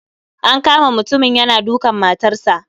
An kama mutumin yana dukan matarsa.